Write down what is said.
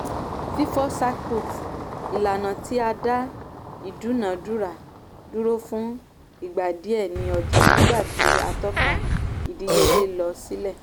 fífọ́ circuit - ìlànà tí ó dá ìdúnàdúrà dúró fún ìgbà díẹ̀ ní ọjà nígbà tí àtọ́ka ìdíyelé lọ sílẹ̀.